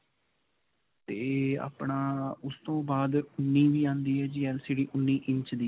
ਤੇ ਆਪਣਾ ਉਸਤੋਂ ਬਾਦ ਉਨ੍ਨੀਂ ਵੀ ਆਉਂਦੀ ਹੈ ਜੀ LCD ਉਨ੍ਨੀਂ ਇੰਚ ਦੀ.